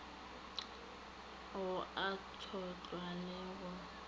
go a tsongwa le go